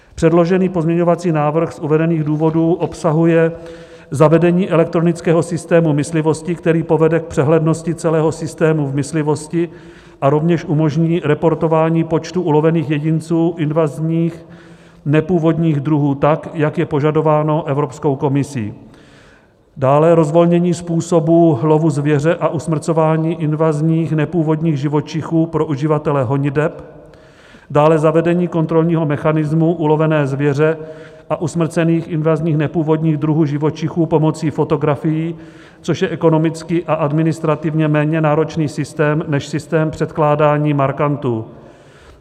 Předložený pozměňovací návrh z uvedených důvodů obsahuje zavedení elektronického systému myslivosti, který povede k přehlednosti celého systému v myslivosti a rovněž umožní reportování počtu ulovených jedinců invazních nepůvodních druhů tak, jak je požadováno Evropskou komisí, dále rozvolnění způsobu lovu zvěře a usmrcování invazních nepůvodních živočichů pro uživatele honiteb, dále zavedení kontrolního mechanismu ulovené zvěře a usmrcených invazních nepůvodních druhů živočichů pomocí fotografií, což je ekonomicky a administrativně méně náročný systém než systém předkládání markantů.